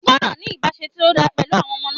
Ó gbọ́dọ̀ ní ìbáse tí ó dán pẹ̀lú àwọn ọmọ náà.